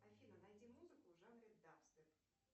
афина найди музыку в жанре дабстеп